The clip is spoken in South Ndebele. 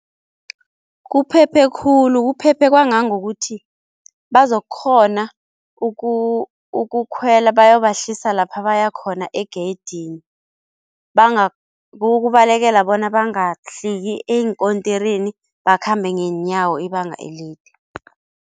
Kuphephe khulu, kuphephe kwangangokuthi bazokukghona ukukhwela bayobahlalisa lapha baya khona egeyidini kukubalekela bona bangahliki eenkotirini bakhambe ngeenyawo ibanga elide.